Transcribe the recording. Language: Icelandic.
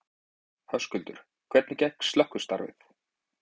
Höskuldur: Og hvernig gekk slökkvistarf?